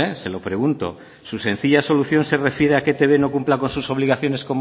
se lo pregunto su sencilla solución se refiere a que etb no cumpla con sus obligaciones